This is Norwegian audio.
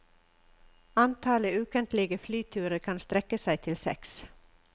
Antallet ukentlige flyturer kan strekke seg til seks.